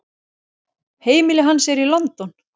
Heimili hans er í London.